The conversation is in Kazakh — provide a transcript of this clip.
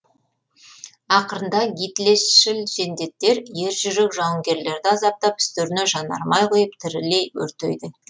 ақырында гитлершіл жендеттер ер жүрек жауынгерлерді азаптап үстеріне жанармай құйып тірілей өртейді